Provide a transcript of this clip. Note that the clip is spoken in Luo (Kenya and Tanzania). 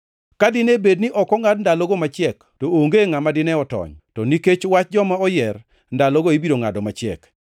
“Ka dine bed ni ok ongʼad ndalogo machiek to onge ngʼama dine otony, to nikech wach joma oyier, ndalogo ibiro ngʼado machiek.